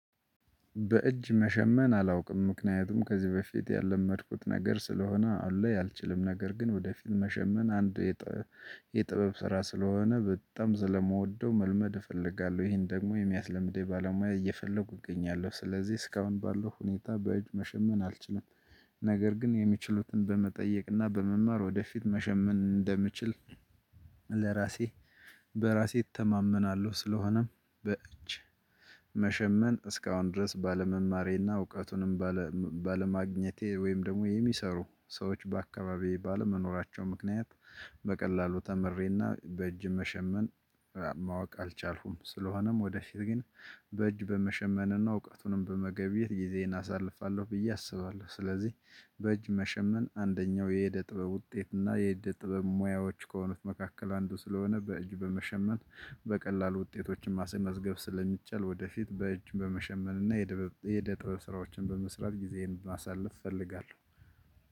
በእጅ መሸመን አላውቅም ምክንያቱም ከዚህ በፊት ያለመድኩት ነገር ስለሆነ አልችልም ነገር ግን ወደፊት መሸመን አንድ የጥበብ ስራ ስለሆነ በጣም ስለምወደው መልመድ እፈልጋለሁ ይሄን ደግሞ የሚያስለምዴ ባለሙያ እየፈለኩ እገኛለሁ ስለዚህ እስካሁን ባለው ሁኔታ በእጅ መሸመን አልችልም። ነገር ግን የሚችሉትን በመጠየቅና በመማር ወደፊት መሸመን እንደምችል ለራሴ በራሴ እተማመናለሁ። ስለሆነም በእጅ መሸመን እስካሁን ድረስ ባለመማሬ እና እውቀቱንም ባለማግኘቴ ወይም ደግሞ የሚሰሩ ሰዎች በአካባቢዬ ባለመኖራቸው ምክንያት በቀላሉ ተምሬና በእጅ መሸመን ማወቅ አልቻልኩም። ስለሆነም ወደ ወደፊት ግን በእጅ በመሸመንና እውቀቱንም በመገቢየት ጊዜን አሳልፋለሁ ብዬ አስባለሁ። ስለዚህ በእጅ መሸመን አንደኛው የእደ ጥበብ ውጤት እና የእደ ጥበብ ሙያዎች ከሆኑት መካከል አንዱ ስለሆነ በእጅ በመሸመን በቀላሉ ውጤቶችን ማሰል መዝገብ ስለሚቻል ወደፊት በእጅ በመሸመን እና የደበብ ስራዎችን በመስራት ጊዜዬን ማሳለፍ እፈልጋለሁ።